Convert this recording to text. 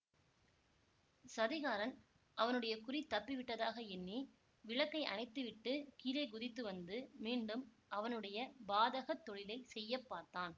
சதிகாரன் அவனுடைய குறி தப்பிவிட்டதாக எண்ணி விளக்கை அணைத்து விட்டு கீழே குதித்து வந்து மீண்டும் அவனுடைய பாதகத் தொழிலை செய்ய பார்த்தான்